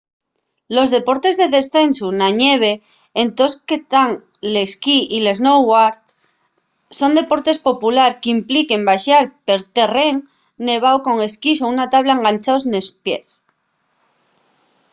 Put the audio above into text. los deportes de descensu na ñeve ente los que tán l’esquí y el snowboard son deportes populares qu’impliquen baxar per terrén nevao con esquís o una tabla enganchaos nos pies